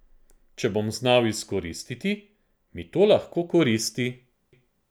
Če bom znal izkoristiti, mi to lahko koristi.